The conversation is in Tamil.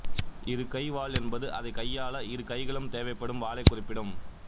இருகை வாள் என்பது அதைக் கையாள இருகைகளும் தேவைப்படும் வாளைக் குறிப்பிடும்